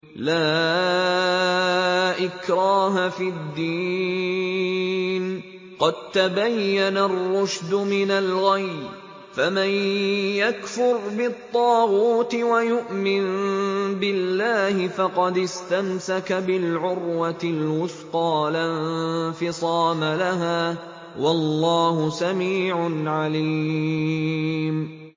لَا إِكْرَاهَ فِي الدِّينِ ۖ قَد تَّبَيَّنَ الرُّشْدُ مِنَ الْغَيِّ ۚ فَمَن يَكْفُرْ بِالطَّاغُوتِ وَيُؤْمِن بِاللَّهِ فَقَدِ اسْتَمْسَكَ بِالْعُرْوَةِ الْوُثْقَىٰ لَا انفِصَامَ لَهَا ۗ وَاللَّهُ سَمِيعٌ عَلِيمٌ